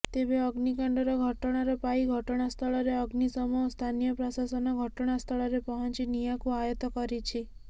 ତେବେ ଅଗ୍ନିକାଣ୍ଡର ଘଟଣାର ପାଇ ଘଟଣାସ୍ଥଳରେ ଅଗ୍ନିଶମ ଓ ସ୍ଥାନୀୟ ପ୍ରଶାସନ ଘଟଣାସ୍ଥଳରେ ପହଞ୍ଚି ନିଆଁକୁ ଆୟତ୍ତ କରିଛି